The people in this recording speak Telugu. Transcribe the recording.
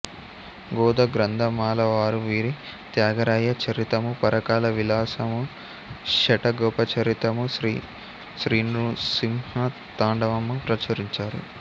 గోదా గ్రంథమాల వారు వీరి త్యాగరాయ చరితము పరకాల విలాసము శఠగోప చరితము శ్రీనృసింహ తాండవము ప్రచురించారు